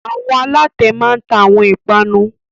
Àwọn alatẹ máa ń ta àwọn ìpanu